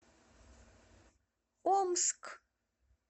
омск